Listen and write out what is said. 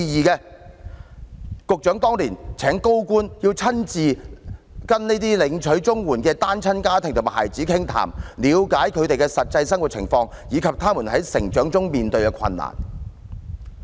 局長當年請高官親自跟這些領取綜援的單親家庭和孩子傾談，了解他們的實際生活情況，以及他們在成長中面對的困難。